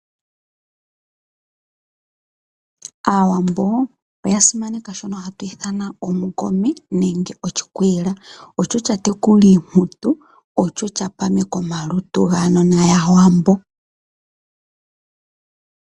Aawambo oya simaneka shoka hatu ithana oshikwiila. Osho sha tekula iimputu, osho sha pameka omalutu gaanona yAawambo.